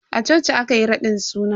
A coci aka yi raɗin suna.